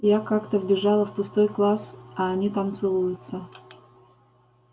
я как-то вбежала в пустой класс а они там целуются